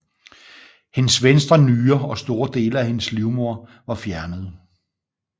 Hendes venstre nyre og store dele af hendes livmoder var fjernet